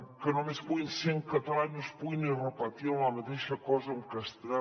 que només puguin ser en català i no es pugui ni repetir la mateixa cosa en castellà